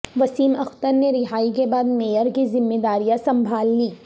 وسیم اختر نے رہائی کے بعد میئر کی ذمہ داریاں سنبھال لیں